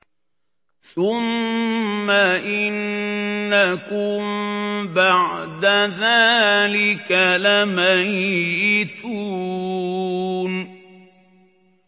ثُمَّ إِنَّكُم بَعْدَ ذَٰلِكَ لَمَيِّتُونَ